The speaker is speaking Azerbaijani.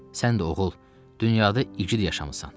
Sən də oğul, dünyada igid yaşamısan.